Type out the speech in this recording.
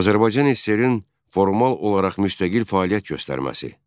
Azərbaycan SSR-in formal olaraq müstəqil fəaliyyət göstərməsi.